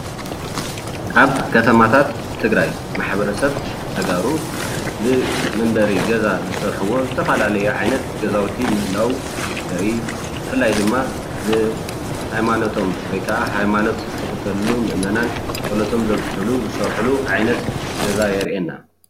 ኣብ ከተማታት ትግራይ ማሕበረሰብ ተጋሩ ንመንበሪ ገዛ ዝሰርሕዎ ዝተፈላለየ ዓይነት ገዛውቲ ምህላዉ የርኢ ብፍላይ ድማ ን ሃይማኖቶም ወይ ከዓ ሃይማኖት ዝኽተልሉ ምእመናን ጸሎቶም ዘብጽሕሉ ዝሰርሑሉ ዓይነት ገዛ የርእየና።